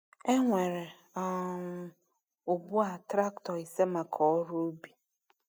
E nwere um ugbu a traktọ ise maka ọrụ ubi.